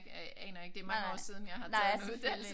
Jeg aner ikke det er mange år siden jeg har taget en uddannelse